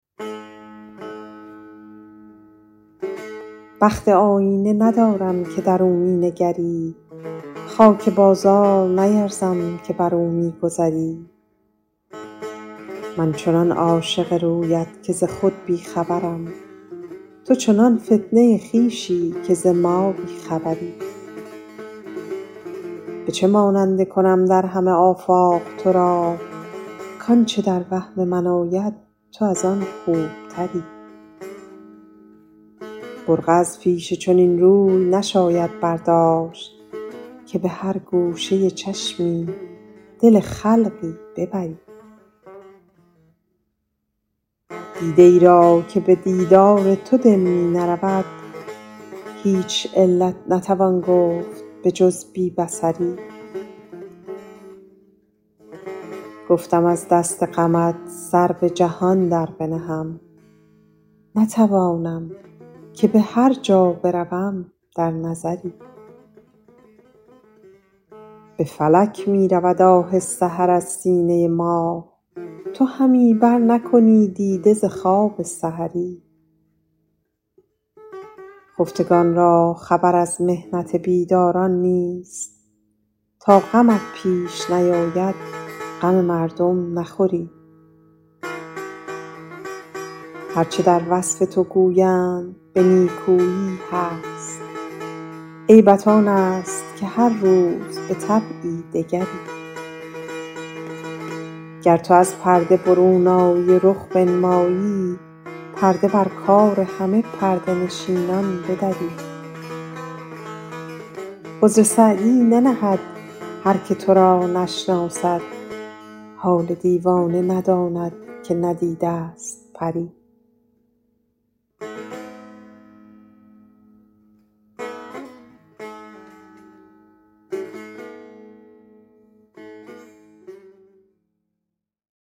بخت آیینه ندارم که در او می نگری خاک بازار نیرزم که بر او می گذری من چنان عاشق رویت که ز خود بی خبرم تو چنان فتنه خویشی که ز ما بی خبری به چه ماننده کنم در همه آفاق تو را کآنچه در وهم من آید تو از آن خوبتری برقع از پیش چنین روی نشاید برداشت که به هر گوشه چشمی دل خلقی ببری دیده ای را که به دیدار تو دل می نرود هیچ علت نتوان گفت به جز بی بصری گفتم از دست غمت سر به جهان در بنهم نتوانم که به هر جا بروم در نظری به فلک می رود آه سحر از سینه ما تو همی برنکنی دیده ز خواب سحری خفتگان را خبر از محنت بیداران نیست تا غمت پیش نیاید غم مردم نخوری هر چه در وصف تو گویند به نیکویی هست عیبت آن است که هر روز به طبعی دگری گر تو از پرده برون آیی و رخ بنمایی پرده بر کار همه پرده نشینان بدری عذر سعدی ننهد هر که تو را نشناسد حال دیوانه نداند که ندیده ست پری